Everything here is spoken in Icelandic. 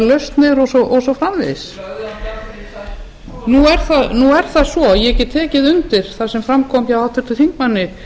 lausnir og svo framvegis nú er það svo að ég get tekið undir það sem fram kom hjá háttvirtum þingmanni